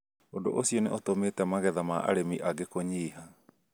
Ũndũ ũcio nĩ ũtũmĩte magetha ma arĩmi angĩ kũnyiha